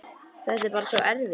Þetta er bara svo erfitt.